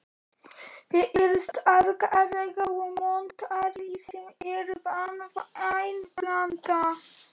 Þeir eru sterkari og montnari sem er banvæn blanda.